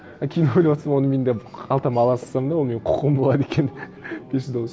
а кейін ойлап отырсам оны мен де қалтама ала салсам да ол менің құқығым болады екен бес жүз доллар